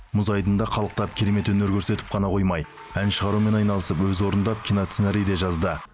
мұз айдынында қалықтап керемет өнер көрсетіп қана қоймай ән шығарумен айналысып өзі орындап киносценарий де жазды